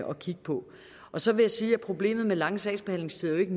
og kigge på så vil jeg sige at problemet med lange sagsbehandlingstider jo ikke